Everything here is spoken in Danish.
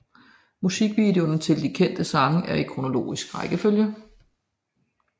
Musikvideoerne til de kendte sange er i kronologisk rækkefølge